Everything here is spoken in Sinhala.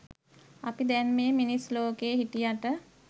අපි දැන් මේ මිනිස් ලෝකේ හිටියට